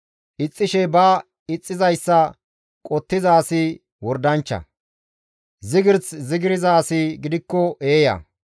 Ixxishe ba ixxizayssa qottiza asi wordanchcha; zigirs zigirza asi gidikko eeya.